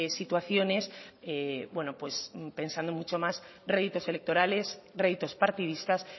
situaciones bueno pues pensando mucho más réditos electorales réditos partidistas